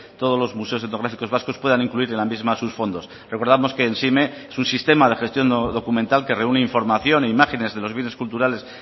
todos los museos etnográficos vascos puedan incluir en la misma sus fondos recordamos que emsime es un sistema de gestión documental que reúne información e imágenes de los bienes culturales